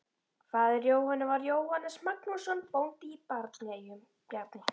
Faðir Jóhönnu var Jóhannes Magnússon, bóndi í Bjarneyjum.